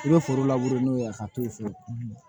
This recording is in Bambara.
I bɛ foro n'o ye a ka t'o fɛ